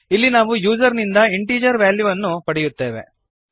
ಇಲ್ಲಿ ನಾವು ಯೂಸರ್ ನಿಂದ ಇಂಟೀಜರ್ ವ್ಯಾಲ್ಯುಗಳನ್ನು ಪಡೆಯುತ್ತೇವೆ